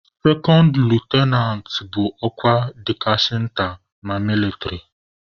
sekond litụnant bụ ọkwa dịkasịrị nta na mịlịtrị.